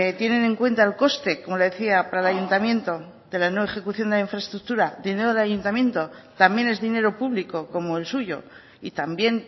tienen en cuenta el coste como le decía para el ayuntamiento de la no ejecución de la infraestructura dinero del ayuntamiento también es dinero público como el suyo y también